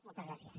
moltes gràcies